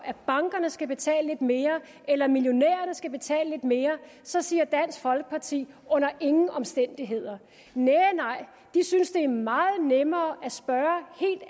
at bankerne skal betale lidt mere eller at millionærerne skal betale lidt mere så siger dansk folkeparti under ingen omstændigheder næh nej de synes det er meget nemmere